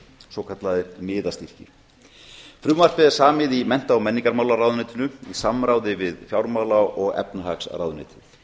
svokallaðir miðastyrkir frumvarpið er samið í mennta og menningarmálaráðuneytinu í samráði við fjármála og efnahagsráðuneytið